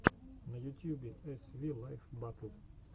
на ютьюбе эс ви лайф батл